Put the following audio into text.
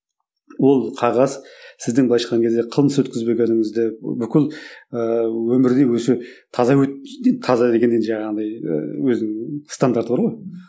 ол қағаз сіздің былайша айтқан кезде қылмыс өткізбегеніңізді бүкіл ііі өмірде өзі таза таза дегендей жаңағындай ыыы өзінің стандарты бар ғой